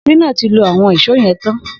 Shina ti ló awọn ìṣó yẹ̀n tán